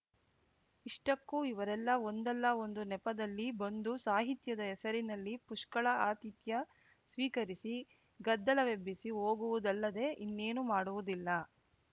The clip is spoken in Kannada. ಇಷ್ಟಕ್ಕೂ ಇವರೆಲ್ಲ ಒಂದಲ್ಲ ಒಂದು ನೆಪದಲ್ಲಿ ಬಂದು ಸಾಹಿತ್ಯದ ಹೆಸರಿನಲ್ಲಿ ಪುಷ್ಕಳ ಆತಿಥ್ಯ ಸ್ವೀಕರಿಸಿ ಗದ್ದಲವೆಬ್ಬಿಸಿ ಹೋಗುವುದಲ್ಲದೆ ಇನ್ನೇನೂ ಮಾಡುವುದಿಲ್ಲ